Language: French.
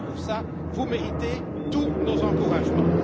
Ne serait ce que pour cela, vous méritez tous nos encouragements.